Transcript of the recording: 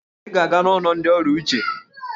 Ị ga-aga n'ụlọ ndị ọrịa uche!